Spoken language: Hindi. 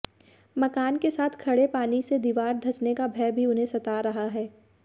मकान के साथ खड़े पानी से दिवार धंसने का भय भी उन्हें सता रहा है